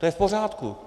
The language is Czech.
To je v pořádku.